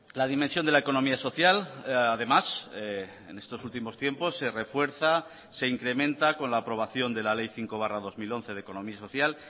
la dimensión de la economía social además en estos últimos tiempos se refuerza se incrementa con la aprobación de la ley cinco barra dos mil once de economía social